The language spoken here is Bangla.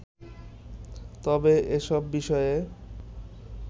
তবে এসব বিষয়ে